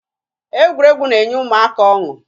Egwuregwu na-enye ụmụaka ọṅụ